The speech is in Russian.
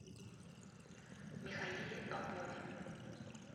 михаиле попове